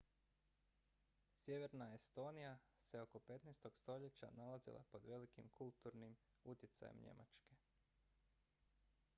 sjeverna estonija se oko 15. stoljeća nalazila pod velikim kulturnim utjecajem njemačke